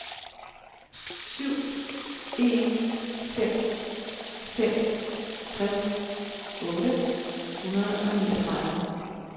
syv en fem fem tres otte hundrede og niogtredive